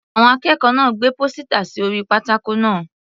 Àwọn akẹ́kọ̀ọ́ náà gbé pósítà sí orí pátákó náà.